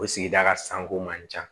O sigida ka sanko man ca